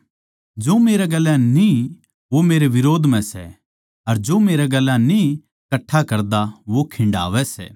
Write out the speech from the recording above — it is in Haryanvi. जो मेरै गेल्या न्ही वो मेरै बिरोध म्ह सै अर जो मेरै गेल्या न्ही कट्ठा करदा वो खिंडावै सै